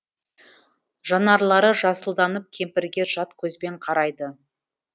жанарлары жасылданып кемпірге жат көзбен қарайды